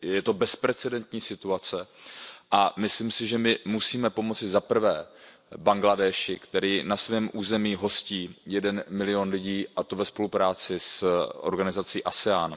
Je to bezprecedentní situace a myslím si, že my musíme pomoci za prvé Bangladéši, který na svém území hostí 1 milion lidí, a to ve spolupráci s organizací ASEAN.